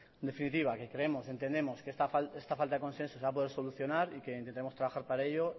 en definitiva que creemos entendemos que esta falta de consenso se va a poder solucionar y que intentaremos trabajar para ello